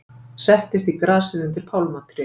Settist í grasið undir pálmatré.